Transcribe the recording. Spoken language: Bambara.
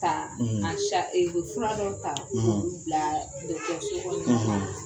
Taa Ee An fura dɔ ta; K'u bila dɔgɔtɔrɔsɔ kɔnɔna la;